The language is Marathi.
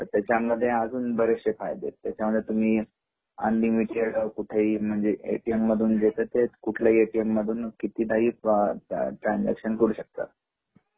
त्याच्यामध्ये बरेचसे फायदे आहेत त्याच्यामध्ये तुम्ही अनलिमिटेड कुठेही म्हणजे ए.टी.एम. मधून एकत्रित कुठल्याही ए.टी.एम. मधून कितीदा ट्रान्सझ्याकसन करू श कता